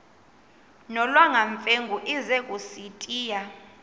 nolwamamfengu ize kusitiya